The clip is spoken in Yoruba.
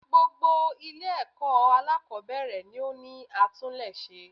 Gbogbo Ilé èkó alákòbéèrè ni ó ní atúlése